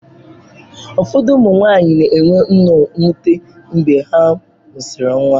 Ụfọdụ ụmụ nwanyị na-enwe nnọọ mwute mgbe ha mụsịrị nwa.